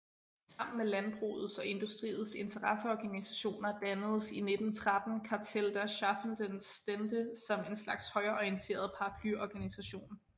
Sammen med landbrugets og industriens interesseorganisationer dannedes i 1913 Kartell der schaffenden Stände som en slags højreorienteret paraplyorganisation